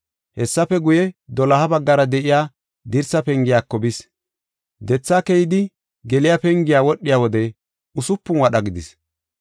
Hessafe guye, doloha baggara de7iya dirsa pengiyako bis. Dethaa keyidi, geliya pengiya wadhiya wode usupun wadha gidis.